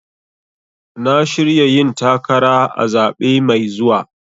Na shirya yin takara a zaɓe mai zuwa.